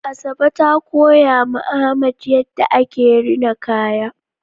Asabe ta koya ma Ahmad yadda ake rina kaya